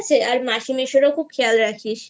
আর মাসি মেশোর খেয়াল রাখিস